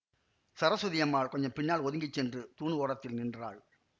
சரஸ்வதி அம்மாள் கொஞ்சம் பின்னால் ஒதுங்கி சென்று தூண் ஓரத்தில் நின்றாள்